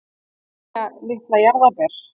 Mæja litla jarðarber.